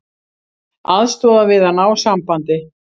Aðstoða við að ná sambandi